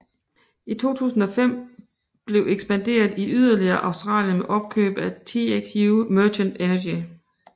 I 2005 blev ekspanderet yderligere i Australien med opkøb af TXU Merchant Energy